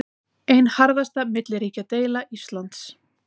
Ein harðasta milliríkjadeila Íslands